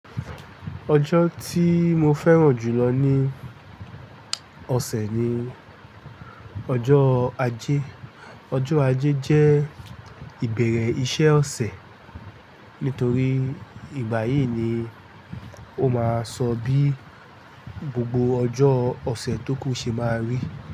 Ọjọ́ ti mo fẹ́ràn jù lọ ní ọ̀sẹ̀ ni ọjọ́ ajé. Ọjọ́ ajé jẹ́ ìbẹ̀rẹ̀ iṣẹ́ ọ̀sẹ̀, nítorí ìgbàyí yìí ni ó máa sọ bí gbogbo ọjọ́ ọ̀sẹ̀ tó kù ṣe máa rí.